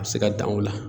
A bɛ se ka dan o la